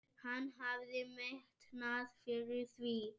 Hann hafði metnað fyrir því.